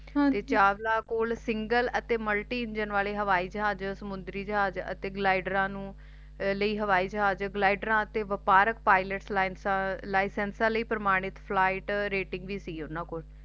ਤੇ ਚਾਵਲਾ ਕੋਲ Single ਅਤੇ Multi ਇੰਜਨ ਵਾਲੇ ਹਵਾਈ ਜਹਾਜ ਸਮੁੰਦਰੀ ਜਹਾਜ ਅਤੇ Glidder ਲਈ ਹਵਾਈ ਜਹਾਜ ਅਤੇ ਵਪਾਰਕ Pilot License ਲਈ ਪ੍ਰਮਾਣਿਤ Flight ਰਟਿੰਗ ਵੀ ਸੀ ਓਹਨਾ ਕੋਲ